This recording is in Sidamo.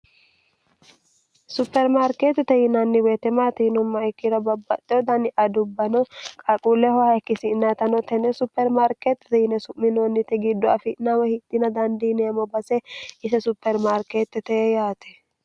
supermaarkeettite yinaanni weetemaatiinumma ikkira babbaxxeudani adubbano qalquullehoha ikkisinatano tenne supermarkeettite yine su'minoonnite giddo afi'naawa hitina dandiineemmo base ise supermaarkeetti tee yaate